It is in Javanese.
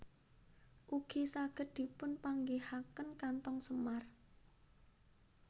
Ugi saged dipun panggihaken kantong semar